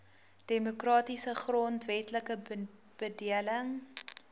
demokratiese grondwetlike bedeling